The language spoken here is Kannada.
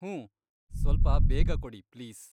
ಹೂಂ, ಸ್ವಲ್ಪ ಬೇಗ ಕೊಡಿ ಪ್ಲೀಸ್.